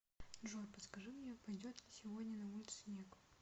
джой подскажи мне пойдет ли сегодня на улице снег